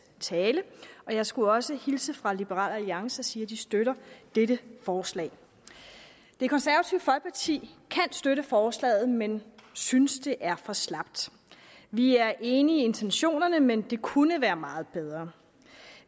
tale jeg skulle også hilse fra liberal alliance og sige at de støtter dette forslag det konservative folkeparti kan støtte forslaget men synes det er for slapt vi er enige i intentionerne men det kunne være meget bedre